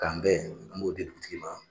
K'an bɛn an b'o di dugutigi ma